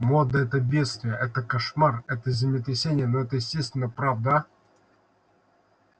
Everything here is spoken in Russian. мода это бедствие это кошмар это землетрясение но это естественно правда